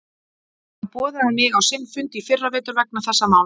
Hann boðaði mig á sinn fundur í fyrra vetur vegna þess máls.